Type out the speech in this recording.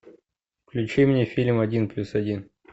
включи мне фильм один плюс один